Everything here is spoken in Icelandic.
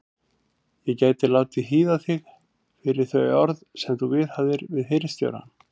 Ég gæti látið hýða þig fyrir þau orð sem þú viðhafðir um hirðstjórann.